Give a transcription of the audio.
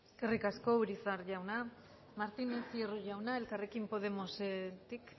eskerrik asko urizar jauna martínez hierro jauna elkarrekin podemosetik